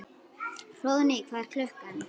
Hróðný, hvað er klukkan?